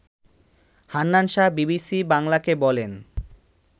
Hannan Shah BBC বাংলাকে বলেন